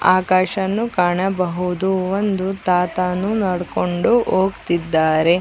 ಆಕಾಶನು ಕಾಣಬಹುದು ಒಂದು ತಾತನು ನಡಕೊಂಡು ಹೋಗ್ ತ್ತಿದ್ದಾರೆ.